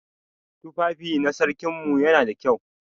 Tufafi na sarkin mu yana da kyau.